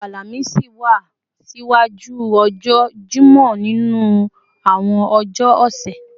ọjọ́ Àlàmísì wá ṣiwájú ọjọ́ Jímọ̀ nínú àwọn ọjọ́ ọ̀sẹ̀